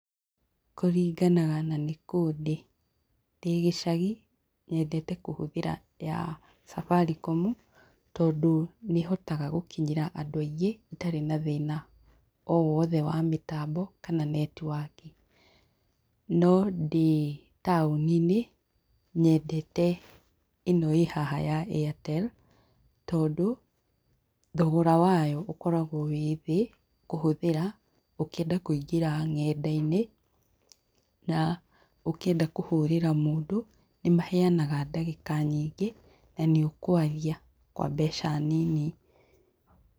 Kũringanaga nanĩkũ ndĩ. Ndĩ gĩcagi nyendete kũhũthĩra ya Safaricom tandũ nĩhotaga gũkinyĩra andũ aingĩ itarĩ na thĩna o wothe wa mĩtambo kana netiwaki. No ndĩ taũninĩ, nyedete ĩno ĩhaha ya Airtel tondũ thogora wayo ũkoragwo wĩ thĩ kũhũthĩra ũkĩenda kũingĩra ng'enda-inĩ na ũkĩenda kũhũrĩra mũndũ nĩmaheanaga ndagĩka nyingĩ na nĩ ũkwaria kwa mbeca nini.